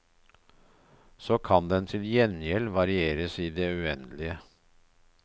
Så kan den til gjengjeld varieres i det uendelige.